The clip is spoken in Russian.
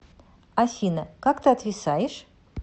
афина как ты отвисаешь